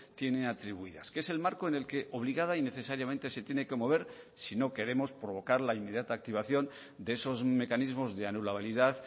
tiene atribuidas que es el marco en el que obligada y necesariamente se tiene que mover si no queremos provocar la inmediata activación de esos mecanismos de anulabilidad